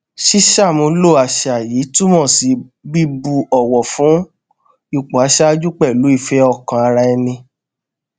ṣíṣàmúlò àṣà yìí túmọ sí bíbu òwò fún ipò aṣáájú pẹlú ìfé ọkàn ara ẹni